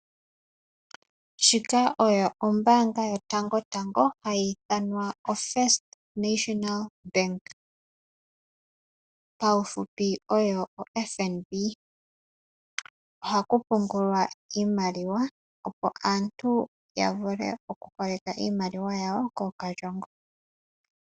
Shika oyo ombanga yotango tango hayi ithanwa oFirst National Bank paufupi oyo oFNB. Ohaku pungulwa iimaliwa opo aantu ya vule oku holeka iimaliwa yawo kookalyongo.